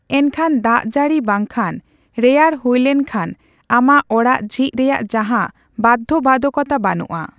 ᱮᱱᱠᱷᱟᱱ, ᱫᱟᱜᱡᱟᱹᱲᱤ ᱵᱟᱝᱠᱷᱟᱱ ᱨᱮᱭᱟᱲ ᱦᱩᱭᱞᱮᱱ ᱠᱷᱟᱱ ᱟᱢᱟᱜ ᱚᱲᱟᱜ ᱡᱷᱤᱡ ᱨᱮᱭᱟᱜ ᱡᱟᱦᱟᱸ ᱵᱟᱫᱷᱚᱵᱟᱫᱷᱚ ᱠᱚᱛᱟ ᱵᱟᱹᱱᱩᱜᱼᱟ ᱾